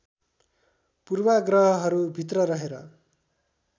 पूर्वाग्रहहरू भित्र रहेर